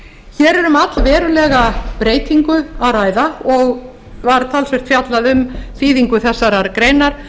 hér er um allverulega breytingu að ræða og var talsvert fjallað um skýringu þessarar greinar